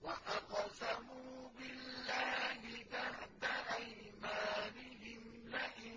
وَأَقْسَمُوا بِاللَّهِ جَهْدَ أَيْمَانِهِمْ لَئِن